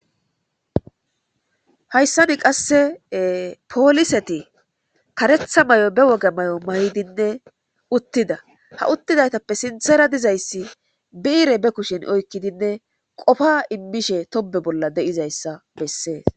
Hayssani qasse pooliseti karetha may'o be woga may'o mayidinne uttida ha uttidaytappe sinthera dizayssi biire be kushin oykkidinne qofa immishe tobe bolla deizayssa bessees.